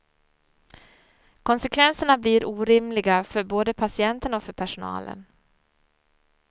Konsekvenserna blir orimliga både för patienterna och för personalen.